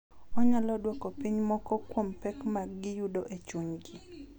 Onyalo dwoko piny moko kuom pek ma giyudo e chunygi.